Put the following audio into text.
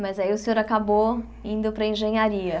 Mas aí o senhor acabou indo para a engenharia.